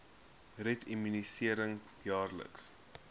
red immunisering jaarliks